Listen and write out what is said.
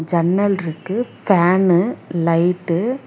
ஜன்னல்ருக்கு fan light --